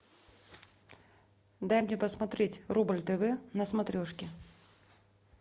дай мне посмотреть рубль тв на смотрешке